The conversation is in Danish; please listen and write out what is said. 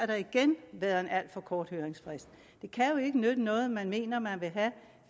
der igen været en alt for kort høringsfrist det kan jo ikke nytte noget at man mener at man vil have